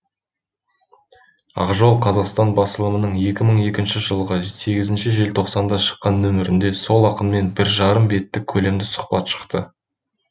ақ жол қазақстан басылымының екі мың екінші жылғы сегзінші желтоқсанда шыққан нөмірінде сол ақынмен бір жарым беттік көлемді сұхбат шықты